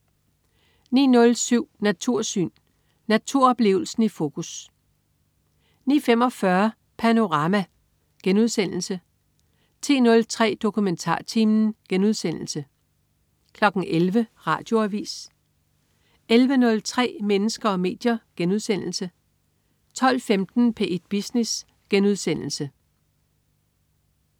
09.07 Natursyn. Naturoplevelsen i fokus 09.45 Panorama* 10.03 DokumentarTimen* 11.00 Radioavis 11.03 Mennesker og medier* 12.15 P1 Business*